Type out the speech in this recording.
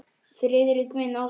Friðrik minn, ástin.